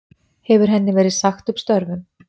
Hefur henni verið sagt upp störfum